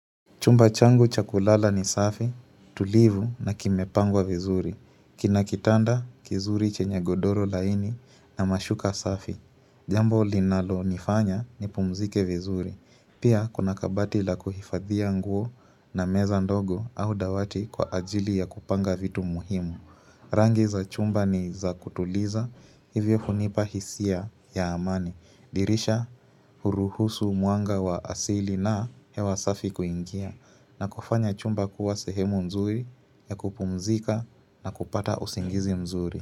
Chumba changu cha kulala ni safi, tulivu na kimepangwa vizuri. Kina kitanda, kizuri chenye godoro laini na mashuka safi. Jambo linalo nifanya nipumzike vizuri. Pia, kuna kabati la kuhifadhia nguo na meza ndogo au dawati kwa ajili ya kupanga vitu muhimu. Rangi za chumba ni za kutuliza, hivyo hunipa hisia ya amani. Dirisha huruhusu mwanga wa asili na hewa safi kuingia. Na kufanya chumba kuwa sehemu mzuri ya kupumzika na kupata usingizi mzuri.